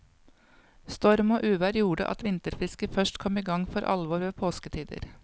Storm og uvær gjorde at vinterfiske først kom i gang for alvor ved påsketider.